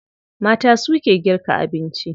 Mata suke girka abinci a gida.